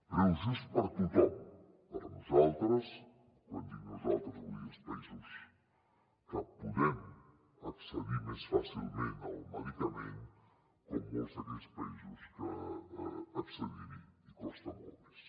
preu just per a tothom per a nosaltres quan dic nosaltres vull dir els països que podem accedir més fàcilment al medicament com per a molts d’aquells països que accedir hi els costa molt més